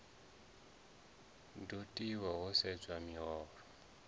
do tiwa ho sedzwa miholo